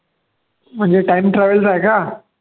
म्हणजे time travel चा आहे का